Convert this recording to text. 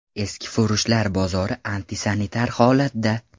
Eskifurushlar bozori antisanitar holatda.